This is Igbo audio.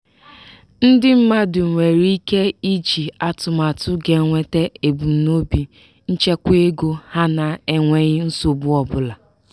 ndị mmadụ nwere ike iji atụmatụ ga nweta ebumnobi nchekwaego ha na-enweghi nsogbu ọbụla.